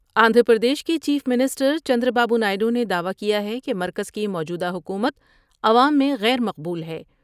آندھرا پردیش کے chief minister Chandra Babu Naidu نے دعوی کیا ہے کہ مرکز کی موجودہ حکومت عوام میں غیر مقبول ہے ۔